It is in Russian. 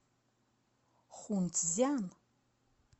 хунцзян